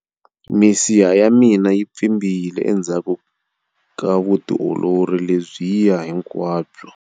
Misiha ya mina yi pfimbile endzhaku ka vutiolori lebyiya hinkwabyo.